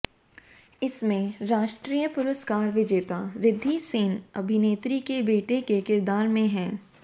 इसमें राष्ट्रीय पुरस्कार विजेता रिद्धि सेन अभिनेत्री के बेटे के किरदार में हैं